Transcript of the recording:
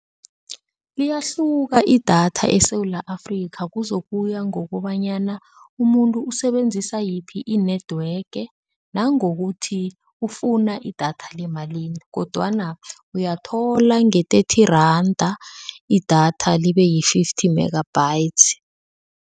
Liyahluka idatha eSewula Afrika, kuzokuya ngokobanyana umuntu usebenzisa yiphi i-network nangokuthi ufuna idatha lemalini kodwana uyathola nge-thirty randa idatha libe yi-fifty megabytes.